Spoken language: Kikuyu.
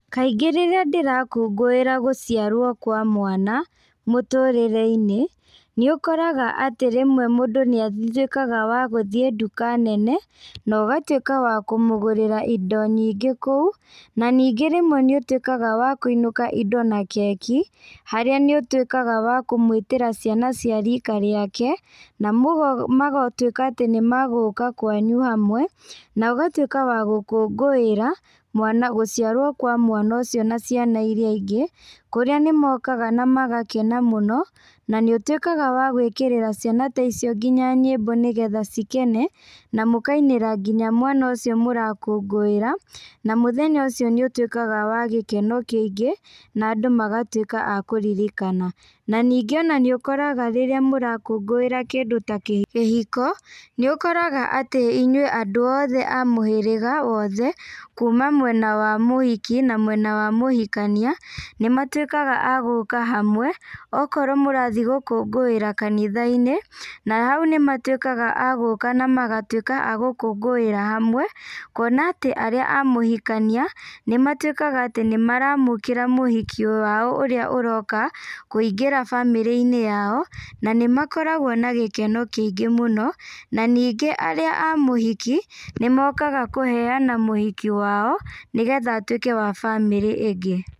Kaingĩ rĩrĩa ndĩrakũngũĩra gũciarwo kwa mwana mũtũrĩre-inĩ, nĩ ũkoraga atĩ rĩmwe mũndũ nĩatuĩkaga wa gũthiĩ nduka nene na ũgatuĩka wa kũmũgũrĩra indo nyingĩ kũu, na ningĩ rĩmwe nĩũtuĩkaga wa kũinũka indo na keki, harĩa nĩ ũtuĩkaga wa kũmũĩtĩra ciana cia rika rĩake, na magatuĩka atĩ nimagũka kwanyu hamwe, na ũgatuĩka wa gũkũngũĩra mwana, gũciarwo kwa mwana ũcio na ciana iria ingĩ, kũrĩa nĩmokaga na magakena mũno. Na nĩ ũtuĩkaga wa gwĩkĩrĩra ciana ta icio nginya nyĩmbo nĩgetha cikene, na mũkainĩra nginya mwana ũcio mũrakũngũĩra. na mũthenya ũcio nĩ ũtuĩkaga wa gĩkeno kĩingĩ, na andũ magatuĩka a kũririkana. Na ningĩ ona nĩ ũkoraga rĩrĩa mũrakũngũĩra kĩndũ ta kĩhiko, nĩ ũkoraga atĩ inyuĩ andũ othe a mũhĩrĩga wothe kuma mwena wa mũhiki na mwena wa mũhikania nĩ matuĩkaga a gũka hamwe, okorwo mũrathiĩ gũkũngũíra kanitha-inĩ, na hau nĩmatuĩkaga a gũka na magatuĩka a gũkũngũĩra hamwe kuona atĩ arĩa a mũhikania nĩ matuĩkaga atĩ nĩ maraamũkĩra mũhiki wao ũrĩa ũroka kũingĩra bamĩrĩ-inĩ yao, na nĩmakoragwo na gĩkeno kĩingĩ mũno, na ningĩ arĩa a mũhiki nĩ mokaga kũheana mũhiki wao nĩgetha atuĩke wa bamĩrĩ ĩngĩ.